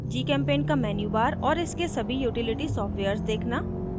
gchempaint का menubar और इसके सभी utility सॉफ्टवेयर्स देखना